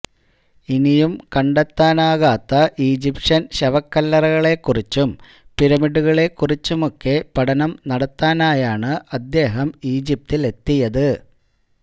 ഇനിയും കണ്ടെത്താനാകാത്ത ഈജിപ്ഷ്യൻ ശവക്കല്ലറകളെക്കുറിച്ചും പിരമിഡുകളെക്കുറിച്ചുമൊക്കെ പഠനം നടത്താനായാണ് അദ്ദേഹം ഈജിപ്തിലെത്തിയത്